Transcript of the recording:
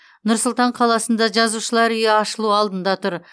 нұр сұлтан қаласында жазушылар үйі ашылу алдында тұр